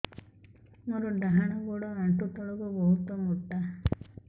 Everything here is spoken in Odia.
ମୋର ଡାହାଣ ଗୋଡ ଆଣ୍ଠୁ ତଳୁକୁ ବହୁତ ମୋଟା